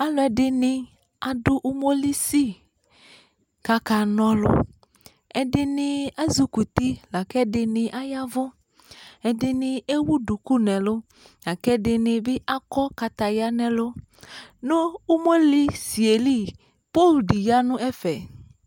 Aluɛde ne ado umolisi kaka na ɔluƐdene azukuti la ko ɛde ne ayavuƐde ne ewu duku nɛlu la kɛ de ne be akɔ kataya nɛlu No umolisie li, poo de ya nɛfɛ